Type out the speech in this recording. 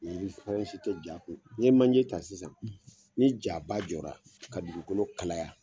I fɛrɛn si tɛ ja kun n'i ye manje ta sisan ni jaba jɔra ka dugukolo kalaya